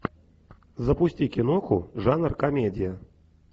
запусти киноху жанр комедия